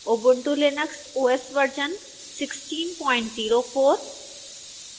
ubuntu linux os version 1604